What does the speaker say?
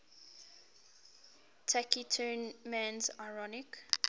taciturn man's ironic